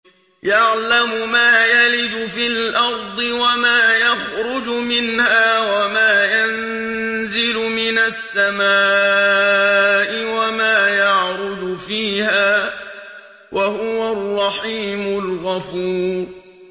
يَعْلَمُ مَا يَلِجُ فِي الْأَرْضِ وَمَا يَخْرُجُ مِنْهَا وَمَا يَنزِلُ مِنَ السَّمَاءِ وَمَا يَعْرُجُ فِيهَا ۚ وَهُوَ الرَّحِيمُ الْغَفُورُ